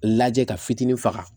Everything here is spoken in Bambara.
Lajɛ ka fitinin faga